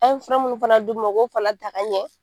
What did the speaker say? An ye fɛ mun fana d'u ma u k'o fana ta ka ɲɛ